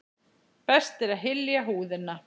Best er að hylja húðina.